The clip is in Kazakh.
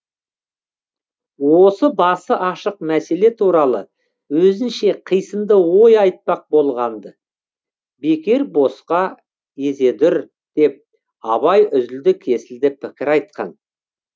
осы басы ашық мәселе туралы өзінше қисынды ой айтпақ болғанды бекер босқа езедүр деп абай үзілді кесілді пікір айтқан